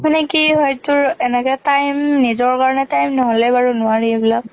মানে কি হয় তোৰ এনেকে time, নিজৰ কাৰণে বাৰু time নহলে নোৱাৰি ইবিলাক।